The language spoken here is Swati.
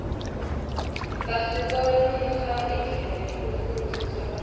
asibonisa indlela yekufundzisa bantfwana